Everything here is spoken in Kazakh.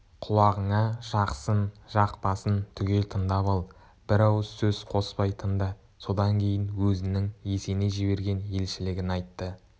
құлағыңа жақсын жақпасын түгел тыңдап ал бір ауыз сөз қоспай тыңда содан кейін өзінің есеней жіберген елшілігін айтты